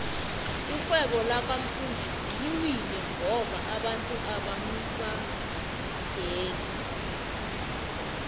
irhwebo laka mfundisi liwile ngoba abantu abamubadeli